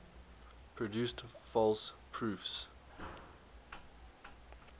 produced false proofs